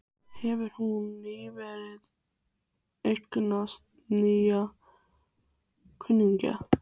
Hefur hún nýverið eignast nýja kunningja?